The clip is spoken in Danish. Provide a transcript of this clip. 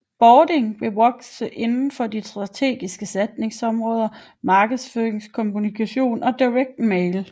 Bording vil vokse inden for de strategiske satsningsområder markedskommunikation og Direct mail